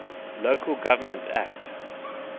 local government act